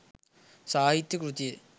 සාහිත්‍ය කෘතිය